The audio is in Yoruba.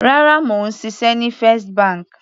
Rárá, mò ń ṣiṣẹ́ ní First bank.